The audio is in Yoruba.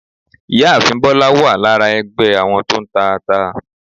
Ìyáàfín bólá wa lára ẹgbé àwọn to ń tà ata